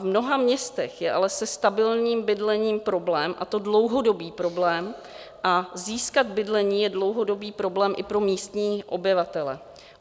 V mnoha městech je ale se stabilním bydlením problém, a to dlouhodobý problém, a získat bydlení je dlouhodobý problém i pro místní obyvatele.